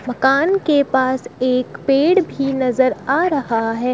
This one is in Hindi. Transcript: मकान के पास एक पेड़ भी नजर आ रहा है।